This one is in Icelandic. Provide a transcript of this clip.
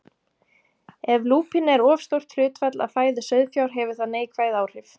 Ef lúpína er of stórt hlutfall af fæðu sauðfjár hefur það neikvæð áhrif.